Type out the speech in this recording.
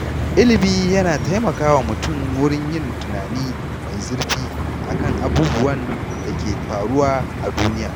Ilimi yana taimakawa mutum wurin yin tunani mai zurfi akan abubuwan da ke faruwa a duniya.